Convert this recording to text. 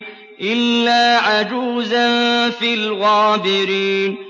إِلَّا عَجُوزًا فِي الْغَابِرِينَ